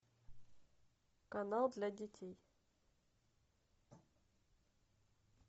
канал для детей